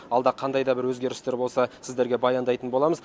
алда қандай да бір өзгерістер болса сіздерге баяндайтын боламыз